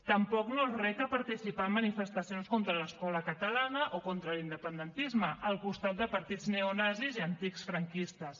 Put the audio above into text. tampoc no els reca participar en manifestacions contra l’escola catalana o contra l’independentisme al costat de partits neonazis i antics franquistes